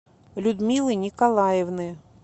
людмилы николаевны